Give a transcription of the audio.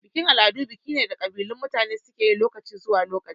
Bikin-al'adu biki ne da kabilun mutane suke lokaci zuwa lokaci.